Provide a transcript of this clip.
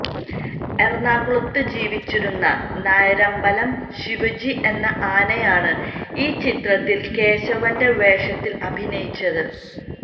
ഏറണാകുളത്ത് ജീവിച്ചിരുന്ന നായരമ്പലം ശിവജി എന്ന ആനയാണ് ഈ ചിത്രത്തിൽ കേശവന്റെ വേഷത്തിൽ അഭിനയിച്ചത്